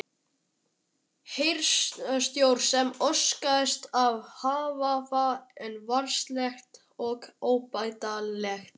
Heyrnartjón sem orsakast af hávaða er varanlegt og óbætanlegt.